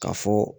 Ka fɔ